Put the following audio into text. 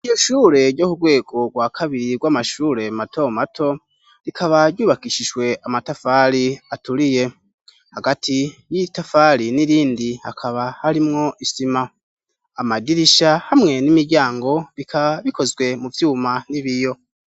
Iryo shure ryo kurwego rwa kabiri rw'amashure mato mato rikaba ryubakishijwe amatafari aturiye hagati y'itafari n'irindi hakaba harimwo isima amadirisha hamwe n'imiryango bikaba bikozwe mu vyuma n'ibiyo.